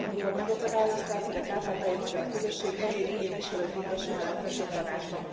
amikor megakadályozták, hogy a kárpátaljai magyar közösség egyéni képviselőt juttasson a legfelsőbb tanácsba.